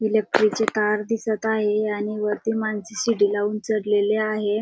Electric ची तार दिसत आहे आणि वरती माणसे शीडी लावून चढलेले आहेत.